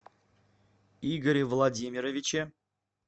игоре владимировиче